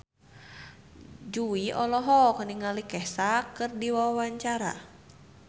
Jui olohok ningali Kesha keur diwawancara